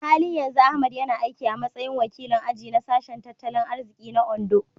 A halin yanzu Ahmad yana aiki a matsayin wakilin aji na Sashen Tattalin Arziki na Ondo.